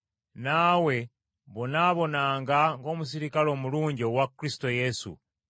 Naawe bonaabonanga ng’omuserikale omulungi owa Kristo Yesu.